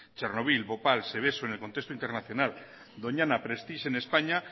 chernobil bhopal seveso en el contexto internacional doñana prestige en españa